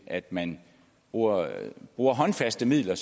at man bruger bruger håndfaste midler